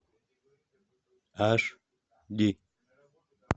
аш ди